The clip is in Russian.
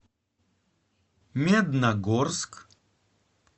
медногорск